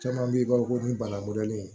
Caman bɛ yen i b'a fɔ ko ni bana mɔdɛli